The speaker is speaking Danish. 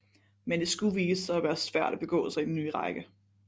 Men det skulle vise sig at være svært at begå sig i den nye række